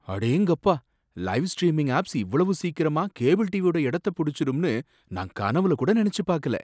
அடேங்கப்பா! Live streaming apps இவ்வளவு சீக்கிரமா கேபிள் டிவியோட எடத்த புடிச்சிடும்னு நான் கனவுல கூட நினைச்சு பாக்கல.